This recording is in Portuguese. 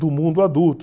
do mundo adulto.